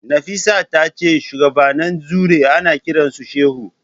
Nafisat tace shuwagabannin Druze ana kiransu shehu.